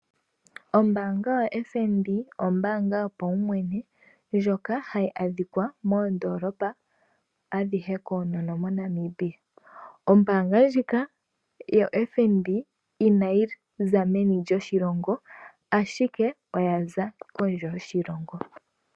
Ombaanga yo FNB ombaanga yopawumwene ndjoka hayi adhika moondoolopa adhihe monamibia. Ombaanga ndjika inayiza meni lyoshilongo ashike oyaza kondje yoshilongo.